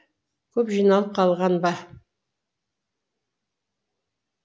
көп жиналып қалған ба